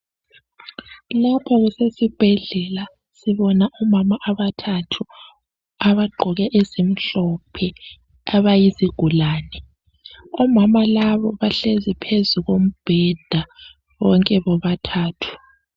Lapha kusesibhendlela sibona omama abathathu abagqoke ezimhlophe abayizigulane omama laba bahlezi phezukombheda bonke bobathathu.